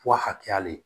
Fɔ a hakɛya le